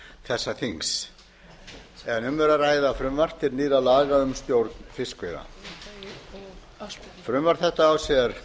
þessa þings um er að ræða frumvarp til nýrra laga um stjórn fiskveiða frumvarp þetta á sér